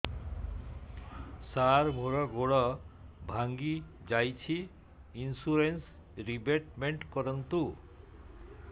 ସାର ମୋର ଗୋଡ ଭାଙ୍ଗି ଯାଇଛି ଇନ୍ସୁରେନ୍ସ ରିବେଟମେଣ୍ଟ କରୁନ୍ତୁ